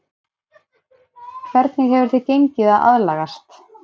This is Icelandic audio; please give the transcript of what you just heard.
Hvernig hefur þér gengið að aðlagast?